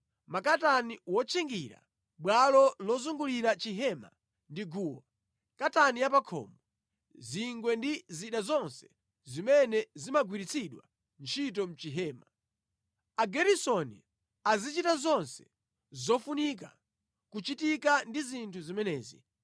makatani wotchingira bwalo lozungulira chihema ndi guwa, katani ya pa khomo, zingwe ndi zida zonse zimene zimagwiritsidwa ntchito mʼchihema. Ageresoni azichita zonse zofunika kuchitika ndi zinthu zimenezi.